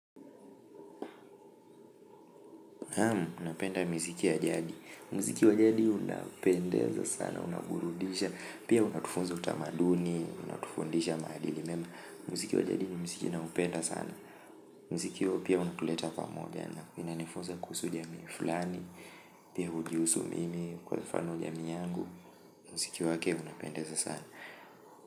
Ama, unapenda miziki ya jadi muziki wa jadi unapendeza sana, unaburudisha pia unatufunza utamaduni, unatufundisha maadili muziki wa jadi ni muziki ninaopenda sana mziki huo pia unatuleta pamoja unanifunza kuhusu jamii fulani pia ujihusu mimi kwa mfano jamii yangu muziki wake hunipendeza sana.